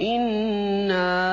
إِنَّا